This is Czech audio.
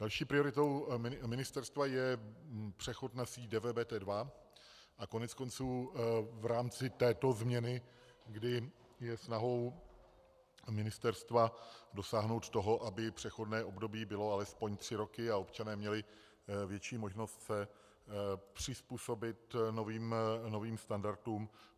Další prioritou ministerstva je přechod na síť DVBT2 a koneckonců v rámci této změny, kdy je snahou ministerstva dosáhnout toho, aby přechodné období bylo alespoň tři roky a občané měli větší možnost se přizpůsobit novým standardům.